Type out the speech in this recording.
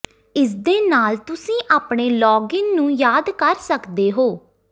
ਇਸਦੇ ਨਾਲ ਤੁਸੀਂ ਆਪਣੇ ਲਾਗਇਨ ਨੂੰ ਯਾਦ ਕਰ ਸਕਦੇ ਹੋ